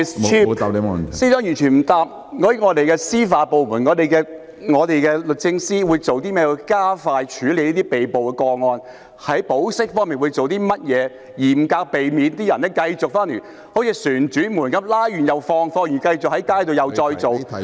司長完全未有回答我們的司法部門律政司有何方法加快處理被捕個案及在保釋方面有何措施，嚴格防止出現"旋轉門"的情況，即被捕人士獲保釋後繼續上街生事......